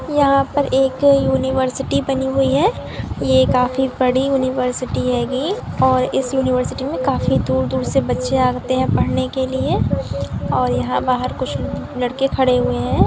यहाँ पर एक यूनिवर्सिटी बनी हुई है ये काफी बड़ी यूनिवर्सिटी हैगी और इस यूनिवर्सिटी में काफी दूर दूर से बच्चे आते है पढ़ने के लिए और यहाँ बाहर कुछ लड़के खड़े हुए है।